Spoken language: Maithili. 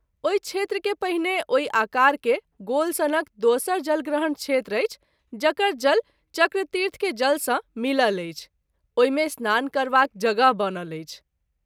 ओहि क्षेत्र के पहिने ओहि आकार के गोल सनक दोसर जलग्रहण क्षेत्र अछि जकर जल चक्रतीर्थ के जल सँ मिलल अछि, ओहि मे स्नान करबाक जगह बनल अछि।